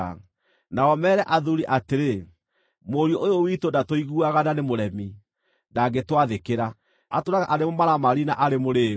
Nao meere athuuri atĩrĩ, “Mũriũ ũyũ witũ ndatũiguaga na nĩ mũremi, ndangĩtwathĩkĩra. Atũũraga arĩ mũmaramari na arĩ mũrĩĩu.”